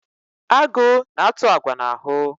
Agụ na-atụ agwa n'ahụ.